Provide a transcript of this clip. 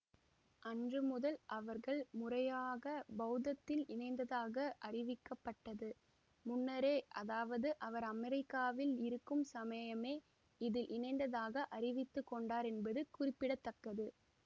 அன்று முதல் அவர்கள் முறையாக பௌத்தத்தில் இணைந்ததாக அறிவிக்கப்பட்டது முன்னரே அதாவது அவர் அமெரிக்காவில் இருக்கும் சமயமே இதில் இணைந்ததாக அறிவித்து கொண்டார் என்பது குறிப்பிட தக்கது